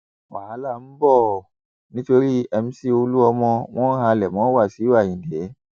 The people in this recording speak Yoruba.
wàhálà ń bọ ọ nítorí mc olúmọ wọn ń halẹ mọ wáṣíù ayíǹde